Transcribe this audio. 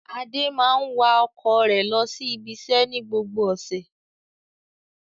Adé máa ń wa ọkọ̀ rẹ̀ lọ sí ibiṣẹ́ ní gbogbo ọ̀sẹ̀.